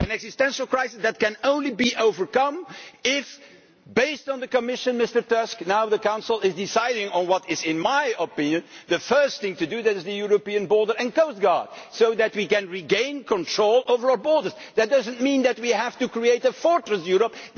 an existential crisis that can only be overcome if based on the Commission, Mr Tusk now the Council decides on what is, in my opinion, the first thing to do, that is the European border and coastguard so that we can regain control over our borders. That does not mean that we have to create a fortress Europe.